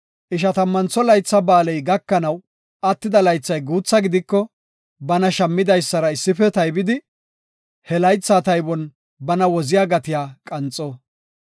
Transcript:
Ishatammantho Laytha Ba7aaley gakanaw attida laythay guutha gidiko, bana shammidaysara issife taybidi, he laytha taybon bana woziya gatiya qanxo.